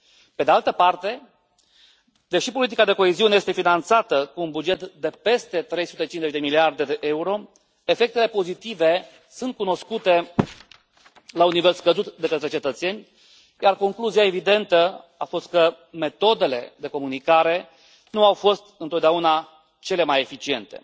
Pe de altă parte, deși politica de coeziune este finanțată cu un buget de peste 350 de miliarde de euro, efectele pozitive sunt cunoscute la un nivel scăzut de către cetățeni, iar concluzia evidentă a fost că metodele de comunicare nu au fost întotdeauna cele mai eficiente.